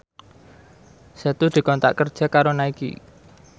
Setu dikontrak kerja karo Nike